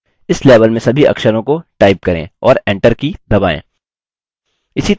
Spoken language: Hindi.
इस लेवल में सभी अक्षरों का टाइप करें और enter की दबाएँ